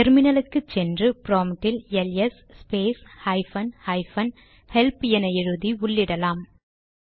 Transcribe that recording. டெர்மினலுக்கு சென்று ப்ராம்ட்டில் L S space hyphen hyphen help என எழுதி உள்ளிட்டலாம்